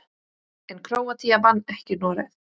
En Króatía vann ekki Noreg.